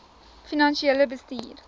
finansiële bestuur